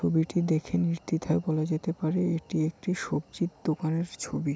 ছবিটি দেখে নির্দ্বিধায় বলা যেতে পারে এটি একটি সবজির দোকানের ছবি।